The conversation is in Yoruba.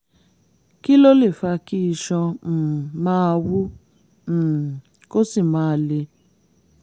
kí ló lè fa kí iṣan um máa wú um kó sì máa le?